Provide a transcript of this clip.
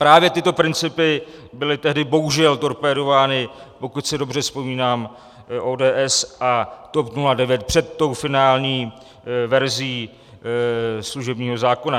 Právě tyto principy byly tehdy bohužel torpédovány, pokud si dobře vzpomínám, ODS a TOP 09 před tou finální verzí služebního zákona.